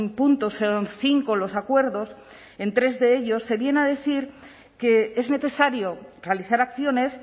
puntos son cinco los acuerdos en tres de ellos se viene a decir que es necesario realizar acciones